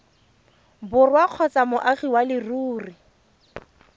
borwa kgotsa moagi wa leruri